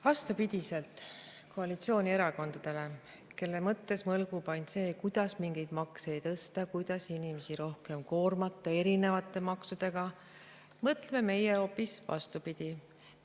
Vastupidi koalitsioonierakondadele, kelle mõttes mõlgub ainult see, kuidas mingeid makse tõsta, kuidas inimesi rohkem koormata erinevate maksudega, mõtleme meie hoopis vastupidi.